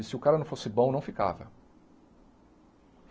E se o cara não fosse bom, não ficava.